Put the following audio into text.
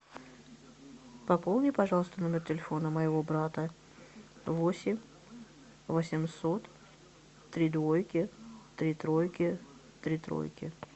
пополни пожалуйста номер телефона моего брата восемь восемьсот три двойки три тройки три тройки